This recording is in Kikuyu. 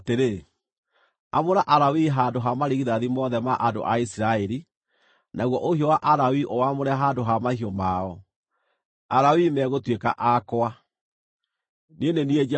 “Amũra Alawii handũ ha marigithathi mothe ma andũ a Isiraeli, naguo ũhiũ wa Alawii ũwaamũre handũ ha mahiũ mao. Alawii megũtuĩka akwa. Niĩ nĩ niĩ Jehova.